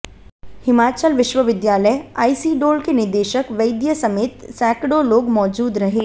हिमाचल विश्वविद्यालय आईसीडोल के निदेशक वैद्य समेत सैकड़ों लोग मौजूद रहे